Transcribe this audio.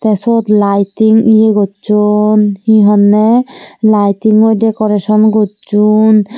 te suot laiting ye gocchon he honne laytingoi decoration gocchon.